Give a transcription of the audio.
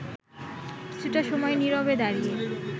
কিছুটা সময় নিরবে দাঁড়িয়ে